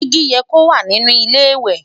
digi yẹ kó wà nínú ilé ìwé